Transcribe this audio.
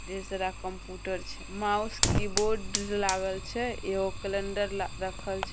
ढेर सारा कम्पूटर छे माउस कीबोर्ड लागल छे एगो कैलंडर ला रखल छे।